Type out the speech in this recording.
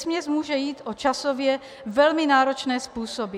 Vesměs může jít o časově velmi náročné způsoby.